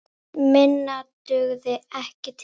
Minna dugði ekki til.